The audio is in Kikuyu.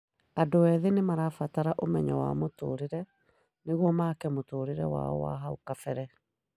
Andũ ethĩ nĩmarabatara ũmenyo wa mũtũrĩre nĩguo maake mũtũrĩre wao wa hau kabere